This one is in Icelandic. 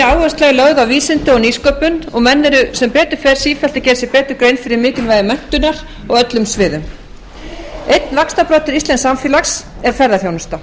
áhersla er lögð á vísindi og nýsköpun og menn eru sem betur fer sífellt að gera sér betur grein fyrir mikilvægi menntunar á öllum sviðum einn vaxtarbroddur íslensks samfélags er ferðaþjónusta